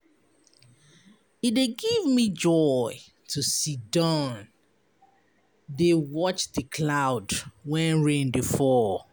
E dey give me joy to siddon dey watch di cloud wen rain dey fall.